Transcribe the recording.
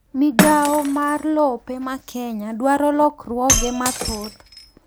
migawo mar lope ma Kenya dwaro lokruoge mathoth